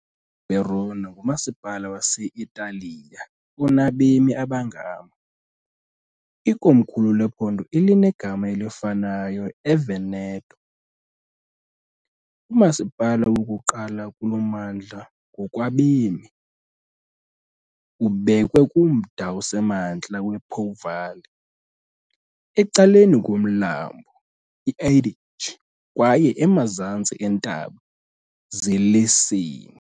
IVerona ngumasipala wase-Italiya onabemi abangama , ikomkhulu lephondo elinegama elifanayo eVeneto. Umasipala wokuqala kulo mmandla ngokwabemi, ubekwe kumda osemantla wePo Valley, ecaleni komlambo iAdige kwaye emazantsi eentaba zeLessini.